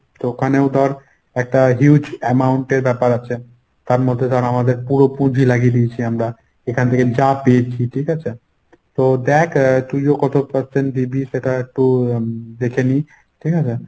তো ওখানেও ধর একটা huge amount এর ব্যপার আছে। তার মধ্যে আমাদের ‍পুরো পুঁজি লাগিয়ে দিয়েছি আমরা এখান থেকে যা পেয়েছি। ঠিকাছে? তো দেখ তুইও কত percent দিবি সেটা একটু এর দেখে নিই। ঠিকাছে?